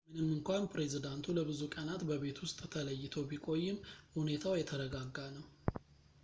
ምንም እንኳን ፕሬዚዳንቱ ለብዙ ቀናት በቤት ውስጥ ተለይቶ ቢቆይም ሁኔታው የተረጋጋ ነው